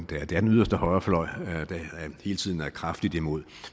det her det er den yderste højrefløj der hele tiden er kraftigt imod